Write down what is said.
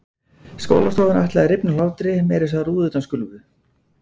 Skólastofan ætlaði að rifna af hlátri, meira að segja rúðurnar skulfu.